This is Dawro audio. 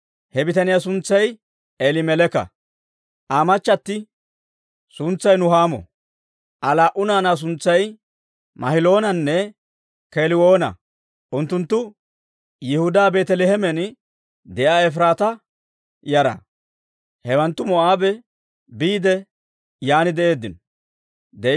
He bitaniyaa suntsay Eelimeleeka; Aa machati suntsay Nuhaamo; Aa laa"u naanaa suntsay Mahiloonanne Keeliwoonanne. Unttunttu Yihudaa Beeteleemen de'iyaa Efiraataa yara. Hewanttu Moo'aabe biide yan de'eeddino.